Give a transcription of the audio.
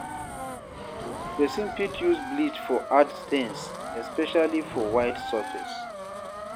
Person fit use bleach for hard stain especially for white surface